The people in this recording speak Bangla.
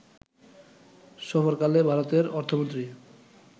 সফরকালে ভারতের অর্থমন্ত্রী